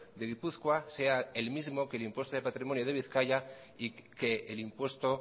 de gipuzkoa sea el mismo que el impuesto de patrimonio de bizkaia y que el impuesto